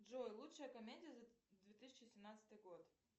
джой лучшая комедия за две тысячи семнадцатый год